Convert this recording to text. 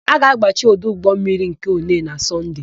A ga-agbachi ọdụ ụgbọmmiri nke Onee na Sọnde.